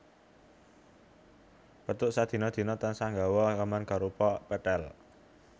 Pétruk sadina dina tansah nggawa gaman arupa pethèl